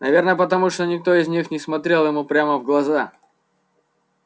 наверное потому что никто из них не смотрел ему прямо в глаза